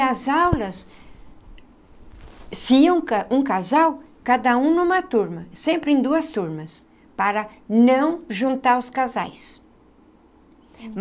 E as aulas, se um ca um casal, cada um numa turma, sempre em duas turmas, para não juntar os casais.